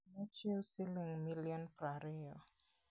Nochiwo siling' milion piero ariyo.